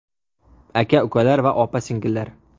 Aka-ukalar va opa-singillar!